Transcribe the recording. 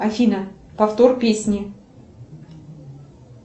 афина повтор песни